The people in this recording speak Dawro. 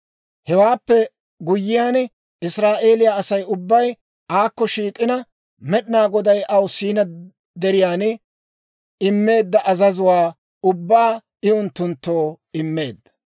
Hewaappe guyyiyaan Israa'eeliyaa Asay ubbay aakko shiik'ina Med'inaa Goday aw Siinaa Deriyaan immeedda azazuwaa ubbaa I unttunttoo immeedda.